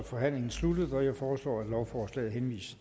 må